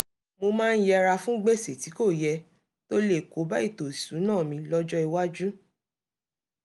mo máa ń yẹra fún gbèsè tí kò yẹ tó lè kóbá ètò ìṣúnná mi lọ́jọ́ iwájú